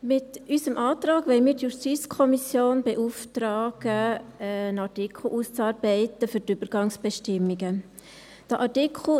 Mit unserem Antrag wollen wir die JuKo beauftragen, einen Artikel für die Übergangsbestimmungen auszuarbeiten.